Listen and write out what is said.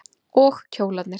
Og kjólarnir.